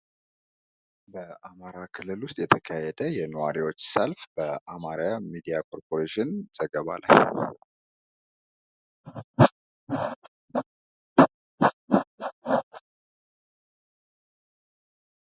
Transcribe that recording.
በአማራ ክልል ውስጥ የተካሄደ የኗሪዎች ሰልፍ በአማራ ሚዲያ ኮርፖሬሽን ዘገባ ላይ።